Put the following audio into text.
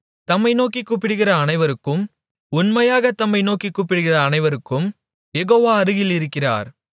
தம்மை நோக்கிக் கூப்பிடுகிற அனைவருக்கும் உண்மையாகத் தம்மை நோக்கிக் கூப்பிடுகிற அனைவருக்கும் யெகோவா அருகில் இருக்கிறார்